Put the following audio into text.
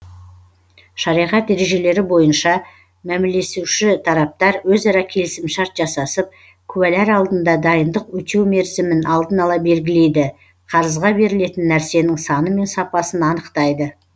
шариғат ережелері бойынша мәмілесуші тараптар өзара келісімшарт жасасып куәлар алдында дайындық өтеу мерзімін алдын ала белгілейді қарызға берілетін нәрсенің саны мен сапасын анықтайды